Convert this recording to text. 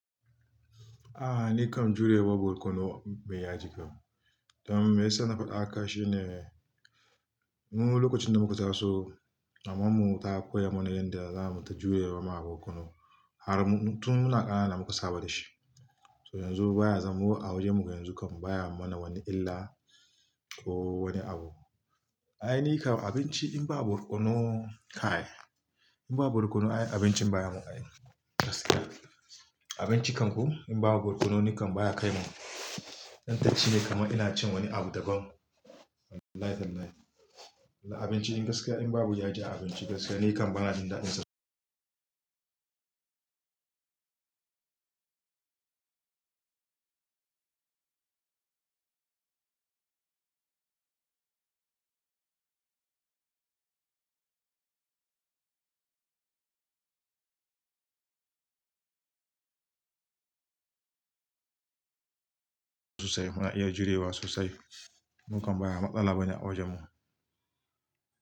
A'a ni kam jurewa borkonu bai ya jika. Don me ya sa na faɗa aka shine, mu lokacin da muka taso, maman mu ta koya mana yanda za mu ta jurewa ma borkonu. Har tun muna ƙanana muka saba da shi. So yanzu baya zamo a wajen mu yanzu kam baya mana wani illa ko wani abu. Ai ni kam abinci in babu borkono kai, in babu borkonu ai abincin baya mun dadi. Gaskiya abinci kam ko in babu borkono ni kam baya kai mun. Dan tashi ne kamar ina cin wani abu daban. Wallahi tallahi. Abinci in gaskiya in babu yaji a abinci gaskiya ni kam bana jin daɗinsa. Muna iya jurewa sosai. Mu kam ba matsala bane a wajen mu.